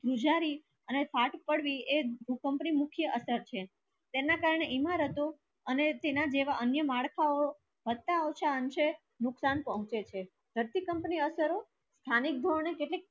ધ્રુજાડી અને ફાટ પડવી એ ભૂકંપ ની મુખ્ય અસર છે તેના કરણે ઈમારતો ને તેના જેવી કોઈ ઉમરતો નુક્સાન પૂછે છે ધરતીકંપ ની અસરો સ્થાનીક લોક ને